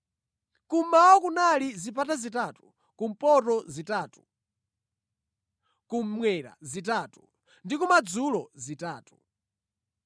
Kummawa kunali zipata zitatu, kumpoto zitatu, kummwera zitatu ndi kumadzulo zitatu.